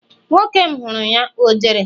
nwoke m huru ya, o jere?